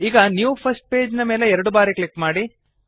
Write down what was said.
ಈಗ new first page ನ ಮೇಲೆ ಎರಡು ಬಾರಿ ಕ್ಲಿಕ್ ಮಾಡಿ